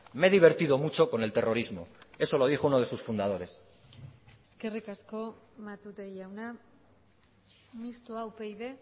me he divertido mucho con el terrorismo eso lo dijo uno de sus fundadores eskerrik asko matute jauna mistoa upyd